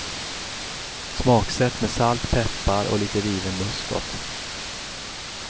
Smaksätt med salt, peppar och lite riven muskot.